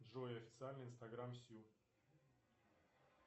джой официальный инстаграм сю